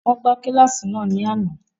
Wọn gba kíláàsì naa ni ánà.